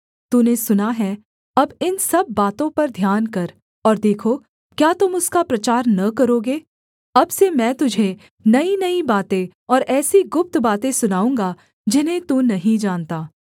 तूने सुना है अब इन सब बातों पर ध्यान कर और देखो क्या तुम उसका प्रचार न करोगे अब से मैं तुझे नईनई बातें और ऐसी गुप्त बातें सुनाऊँगा जिन्हें तू नहीं जानता